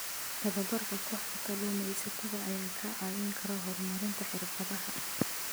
Tababarka kooxda kalluumaysatada ayaa kaa caawin kara horumarinta xirfadaha.